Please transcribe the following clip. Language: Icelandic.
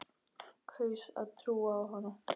Kaus að trúa á hana.